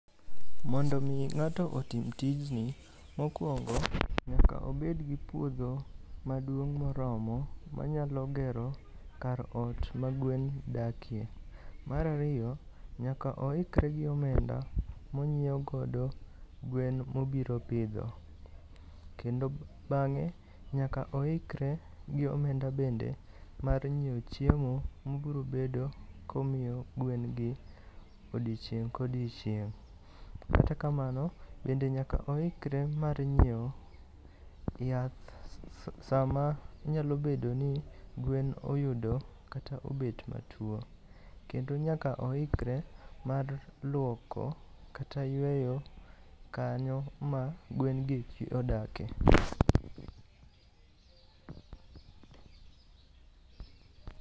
Mondo omi ng'ato otim tijni, mokwongo nyaka obedgi puodho maduong' moromo manyalo gero kar ot ma gwen dakie. Mar ariyo, nyaka oikre gi omenda monyiewo godo gwen mobiro pidho. Kendo bang'e, nyaka oikre gi omenda bende mar nyiewo chiemo mobiro bedo komiyo gwen gi odiochieng' ko'diochieng'. Kata kamano, bende nyaka oikre mar nyiewo yath sama nyalo bedo ni gwen oyudo kata obet matuwo. Kendo nyaka oikre mar lwoko kata yweyo kanyo ma gwen gi odake.